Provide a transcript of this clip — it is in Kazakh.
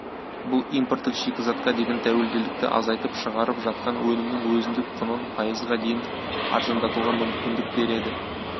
бұл импорттық шикізатқа деген тәуелділікті азайтып шығарып жатқан өнімінің өзіндік құнын пайызға дейін арзандатуға мүмкіндік береді